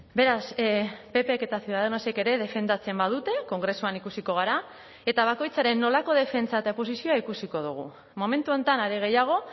beraz ppk eta ciudadanosek ere defendatzen badute kongresuan ikusiko gara eta bakoitzaren nolako defentsa eta posizioa ikusiko dugu momentu honetan are gehiago